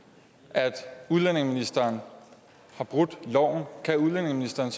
at udlændingeministeren har brudt loven kan udlændingeministeren